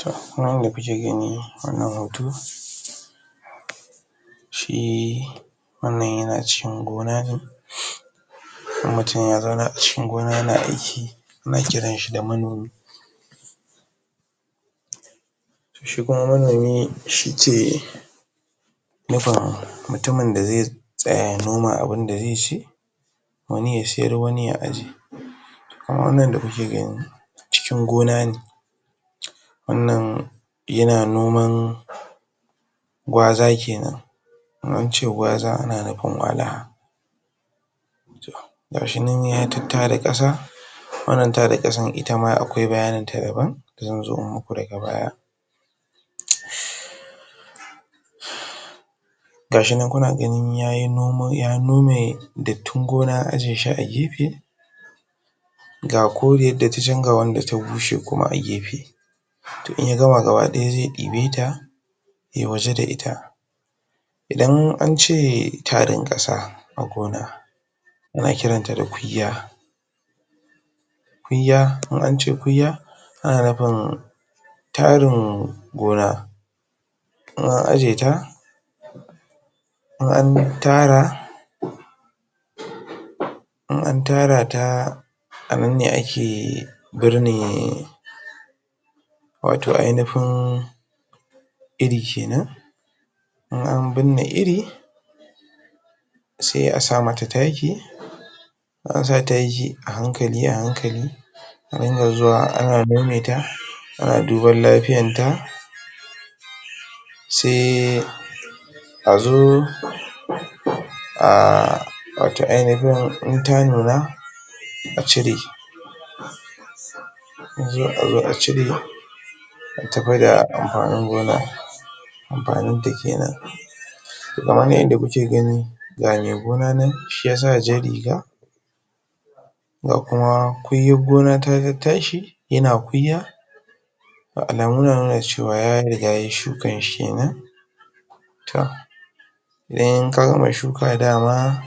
to kamar yadda kuke gani wannan hoton shi wannan yana cikin gona in mutum ya zauna a cikin gona yana aiki ana kiran shi da manomi shi kuma manomi shi ke nufan mutumin da zai tsaya ya noma abinda zai ci wani ya siyar wani ya ajiye kamar nan da kuke gani cikin gona ne wannan yana noman gwaza kenan in ana ce gwaza ana nufin wala gashi nan ya tattara ƙasa wannan tara ƙasar itama akwai bayanin daban ta zan zo na muku daga baya gashi nan kuna ganin ya nome datti gona ya ajiye shi a gefe ga koriyar datti can ka wani da ta bushe kuma a gefe to in ya gama hawa daya zai dibe ta yai waje da ita idan an ce tarin ƙasa a gona ana kiran da kuyya kuyya in ance kuyya ana nufin tarin gona in an ajiye ta in an tara in ana tara ta anan ne ake bunne wato aini fin iri kenan in ana bunne iri sai a samata taki in an sa taki a hankali a hankali adunga zuwa ana nome ta ana duban lafiyan ta sai a zo a wato aini fin in ta nuna a cire za'a zo a cire a tafi da amfanin gonan amfanin ta kenan kamar yadda kuke gani ga me gona nan shi yasa jan riga ga kuma kuyya gona ta daddashe yana kuyya alamu na nuna cewa ya riga yayi shukan shi kenan tam idan ka gama shuka daman